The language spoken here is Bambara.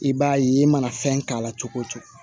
I b'a ye i mana fɛn k'a la cogo o cogo